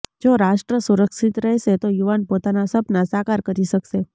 જો રાષ્ટ્ર સુરક્ષિત રહેશે તો યુવાન પોતાના સપનાં સાકાર કરી શકશે